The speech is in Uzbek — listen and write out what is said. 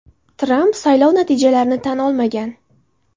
Tramp saylov natijalarini tan olmagan.